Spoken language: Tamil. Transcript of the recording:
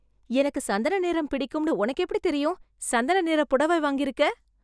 எனக்கு சந்தன நிறம் பிடிக்கும்னு உனக்கு எப்படித் தெரியும்? சந்தன நிற புடவை வாங்கியிருக்க?